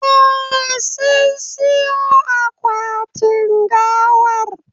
Eh, sun siyon akwatin gawar